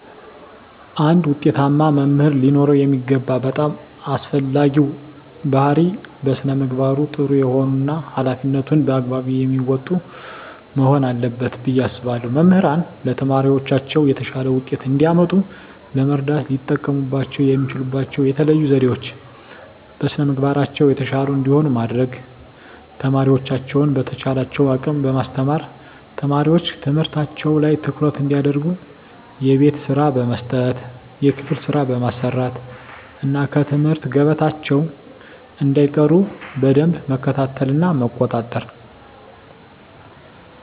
አንድ ውጤታማ መምህር ሊኖረው የሚገባው በጣም አስፈላጊው ባህሪይ በስነ ምግባሩ ጥሩ የሆነ እና ሀላፊነቱን በአግባቡ የሚወጣ መሆን አለበት ብየ አስባለሁ። መምህራን ለተማሪዎቻቸው የተሻለ ውጤት እንዲያመጡ ለመርዳት ሊጠቀሙባቸው የሚችሉባቸው የተለዩ ዘዴዎች - በስነ ምግባራቸው የተሻሉ እንዲሆኑ ማድረግ፣ ተማሪዎቻቸውን በተቻላቸው አቅም በማስተማር፣ ተማሪዎች ትምህርታቸው ላይ ትኩረት እንዲያደርጉ የቤት ስራ በመስጠት የክፍል ስራ በማሰራት እና ከትምህርት ገበታቸው እንዳይቀሩ በደንብ መከታተልና መቆጣጠር።